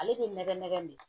Ale bɛ nɛgɛ nɛgɛ de